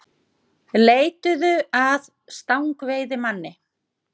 Leituðu að stangveiðimanni